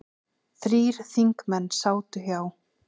Þrír þingmenn sátu hjá